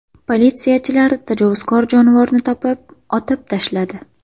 Politsiyachilar tajovuzkor jonivorni topib, otib tashladi.